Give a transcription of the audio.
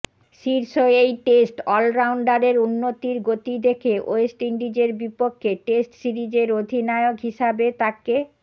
শীর্ষ এই টেস্ট অলরাউন্ডারের উন্নতির গতি দেখে ওয়েস্ট ইন্ডিজের বিপক্ষে টেস্ট সিরিজের অধিনায়ক হিসাবে তাকে